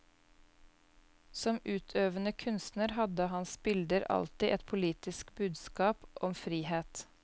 Som utøvende kunstner hadde hans bilder alltid et politisk budskap om frihet.